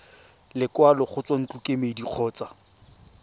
lekwalo go tswa ntlokemeding kgotsa